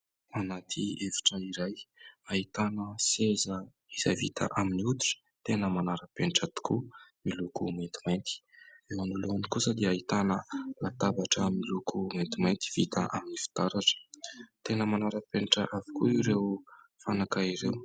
Anaty efitra iray : ahitana seza izay vita amin'ny hoditra tena manara-penitra tokoa miloko maintimainty, anoloany kosa dia ahitana latabatra miloko maintimainty vita amin'ny fitaratra ; tena manara-penitra avokoa ireo fanaka ireo.